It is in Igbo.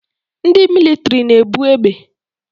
Ndị mịlịtrị na-ebu egbe